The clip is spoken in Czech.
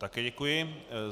Také děkuji.